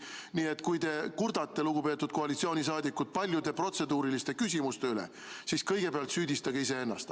Nii et kui te, lugupeetud koalitsiooniliikmed, kurdate nende paljude protseduuriliste küsimuste üle, siis kõigepealt süüdistage iseennast.